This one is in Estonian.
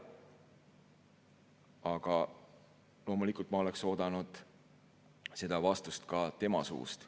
Aga loomulikult ma oleksin oodanud seda vastust ka tema suust.